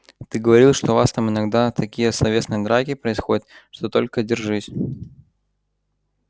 ты говорил что у вас там иногда такие словесные драки происходят что только держись